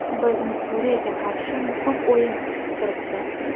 Bizni Suriyaga qarshi muhim o‘yin kutib turibdi.